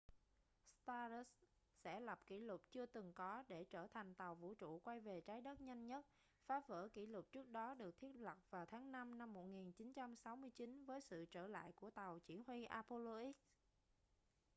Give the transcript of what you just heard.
stardust sẽ lập kỷ lục chưa từng có để trở thành tàu vũ trụ quay về trái đất nhanh nhất phá vỡ kỷ lục trước đó được thiết lập vào tháng năm năm 1969 với sự trở lại của tàu chỉ huy apollo x